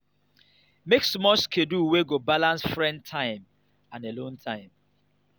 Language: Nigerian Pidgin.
make small schedule wey go balance friends time and alone time